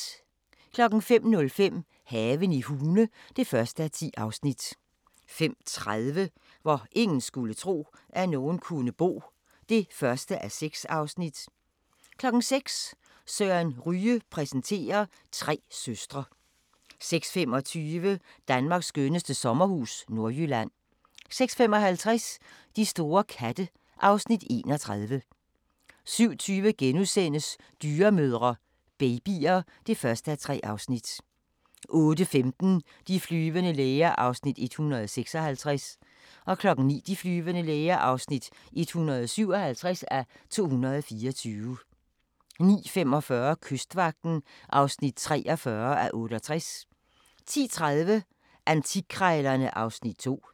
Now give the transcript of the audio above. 05:05: Haven i Hune (1:10) 05:30: Hvor ingen skulle tro, at nogen kunne bo (1:6) 06:00: Søren Ryge præsenterer: Tre søstre 06:25: Danmarks skønneste sommerhus – Nordjylland 06:55: De store katte (Afs. 31) 07:20: Dyremødre – babyer (1:3)* 08:15: De flyvende læger (156:224) 09:00: De flyvende læger (157:224) 09:45: Kystvagten (43:68) 10:30: Antikkrejlerne (Afs. 2)